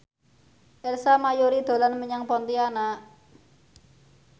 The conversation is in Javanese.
Ersa Mayori dolan menyang Pontianak